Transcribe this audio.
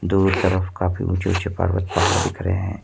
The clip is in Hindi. दो तरफ काफी ऊंचे ऊंचे पर्वत पहाड़ दिख रहे हैं।